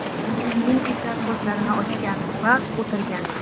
Keyin esa ko‘zlarini ochgan va o‘tirgan.